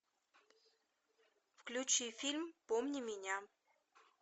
включи фильм помни меня